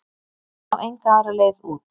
Ég sá enga aðra leið út.